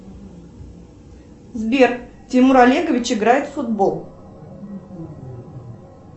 сбер тимур олегович играет в футбол